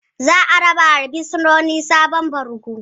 Zaa rabawa bursinoni sabon bargo.